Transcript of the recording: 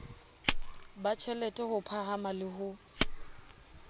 batjhelete ho phahama le ho